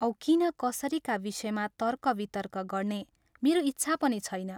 औ किन कसरीका विषयमा तर्क वितर्क गर्ने मेरो इच्छा पनि छैन।